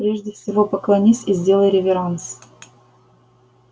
прежде всего поклонись и сделай реверанс